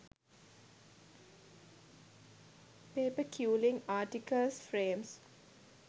paper quilling articles frames